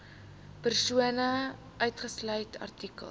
persone uitgesluit artikel